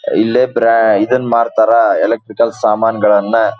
ಇಲ್ಲೇ ಬ್ರ ಇದನ್ನ ಮಾರ್ತಾರ ಎಲೆಕ್ಟ್ರಿಕ್ ಸಾಮಾನುಗಳನ್ನ.